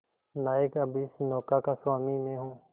नायक अब इस नौका का स्वामी मैं हूं